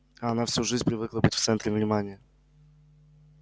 а она всю жизнь привыкла быть в центре внимания